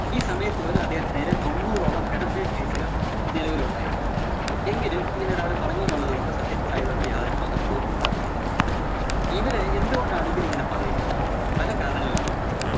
ഈ സമയത്തുപോലും അദ്ദേഹത്തിനെതിരെ തൊണ്ണൂറോളം pedophile case കള്‍ നിലവിലുണ്ടായിരുന്നു. എങ്കിലും ഇങ്ങനൊരാള് പറഞ്ഞൂന്നുള്ളതുകൊണ്ട് സത്യസായിബാബക്ക് യാതൊരു മഹത്വം ഉണ്ടാവുന്നില്ല. ഇവര് എന്തുകൊണ്ടാണ് ഇവരിങ്ങനെ പറയുന്നത്? പലകാരണങ്ങള്‍ കൊണ്ടുണ്ടാകും.